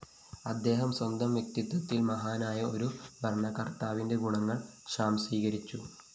അദ്ദേഹം സ്വന്തം വ്യക്തിത്വത്തില്‍ മഹാനായ ഒരു ഭരണകര്‍ത്താവിന്റെ ഗുണങ്ങള്‍ സ്വാംശീകരിച്ചിരുന്നു